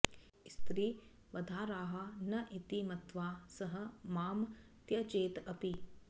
स्त्री वधार्हा न इति मत्वा सः मां त्यजेत् अपि